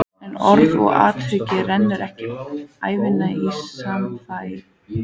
En orð og athöfn renna ekki ævinlega í sama farveg.